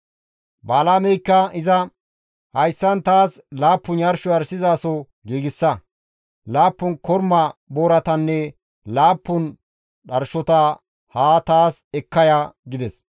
Balaameykka iza, «Hayssan taas laappun yarsho yarshizaso giigsa; laappun korma booratanne laappun dharshota haa taas ekka ya» gides.